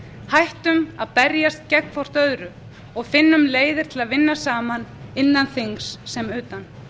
hættum að berjast gegn hvert öðru og finnum leiðir til að vinna saman innan þings sem utan